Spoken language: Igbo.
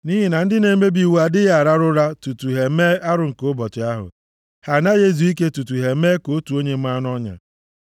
nʼihi na ndị na-emebi iwu adịghị arahụ ụra tutu ha emee arụ nke ụbọchị ahụ. Ha anaghị ezu ike tutu ha emee ka otu onye maa nʼọnya.